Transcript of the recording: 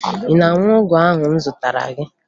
Ị na-aṅụ ọgwụ ahụ m zụtara gị?